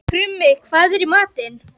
Krummi, hvað er í matinn?